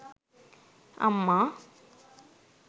amma